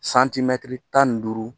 Santimɛtiri tan ni duuru